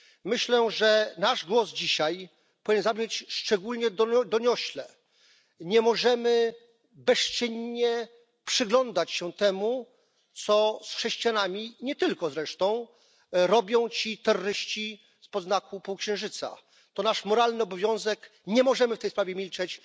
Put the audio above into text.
Myślę, że nasz głos dzisiaj powinien zabrzmieć szczególnie doniośle. Nie możemy bezczynnie przyglądać się temu, co z chrześcijanami i nie tylko zresztą robią ci terroryści spod znaku półksiężyca. To nasz moralny obowiązek. Nie możemy w tej sprawie milczeć.